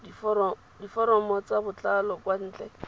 diforomo ka botlalo kwa ntle